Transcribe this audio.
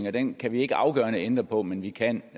at den kan vi ikke afgørende ændre på men vi kan